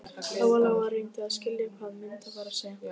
Lóa-Lóa reyndi að skilja hvað Munda var að segja.